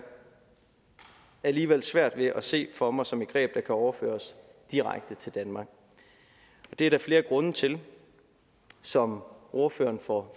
alligevel svært ved at se for mig som et greb der kan overføres direkte til danmark og det er der flere grunde til som ordføreren for